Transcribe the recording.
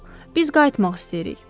Yox, yox, biz qayıtmaq istəyirik.